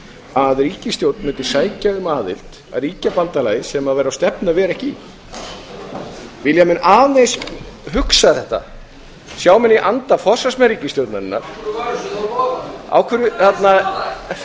að ríkisstjórn mundi sækja um aðild að ríkjabandalagi sem væri á stefnu að vera ekki í vilja menn aðeins hugsa þetta sjá menn í anda forsvarsmenn ríkisstjórnarinnar forseti biður enn og aftur um hljóð í þingsalnum forseti biður um hljóð í þingsalnum